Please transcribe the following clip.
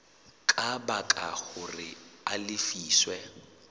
ka baka hore a lefiswe